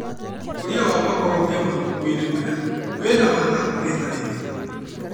Ũkũria wa makorobia matukũ -inĩ maya wĩna baita kũrĩ arĩmi.